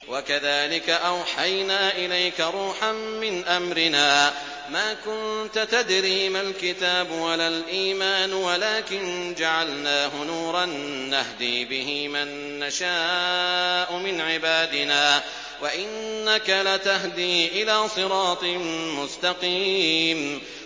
وَكَذَٰلِكَ أَوْحَيْنَا إِلَيْكَ رُوحًا مِّنْ أَمْرِنَا ۚ مَا كُنتَ تَدْرِي مَا الْكِتَابُ وَلَا الْإِيمَانُ وَلَٰكِن جَعَلْنَاهُ نُورًا نَّهْدِي بِهِ مَن نَّشَاءُ مِنْ عِبَادِنَا ۚ وَإِنَّكَ لَتَهْدِي إِلَىٰ صِرَاطٍ مُّسْتَقِيمٍ